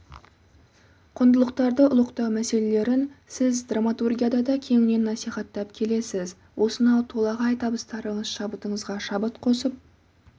құндылықтарды ұлықтау мәселелерін сіз драматургияда да кеңінен насихаттап келесіз осынау толағай табыстарыңыз шабытыңызға шабыт қосып